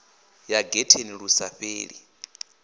ya getheni lu sa fheli